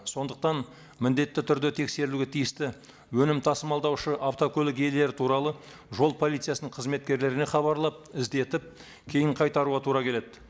сондықтан міндетті түрде тексерілуге тиісті өнім тасымалдаушы автокөлік иелері туралы жол полициясының қызметкерлеріне хабарлап іздетіп кейін қайтаруға тура келеді